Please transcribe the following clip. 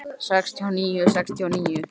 Hvernig gengur að koma skilaboðum til liðsins?